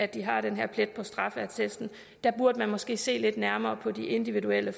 de har den her plet på straffeattesten der burde man måske se lidt nærmere på de individuelle